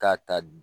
K'a ta